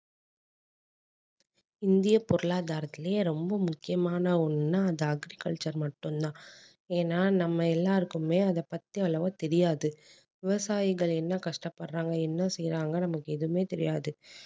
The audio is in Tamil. இந்திய பொருளாதாரத்துலேயே ரொம்ப முக்கியமான ஒன்னுன்னா அது agriculture மட்டும் தான் ஏன்னா நம்ம எல்லாருக்குமே அதை பத்தி அவ்வளவு தெரியாது விவசாயிகள் என்ன கஷ்டப்படுறாங்க என்ன செய்யறாங்கன்னு நமக்கு எதுவுமே தெரியாது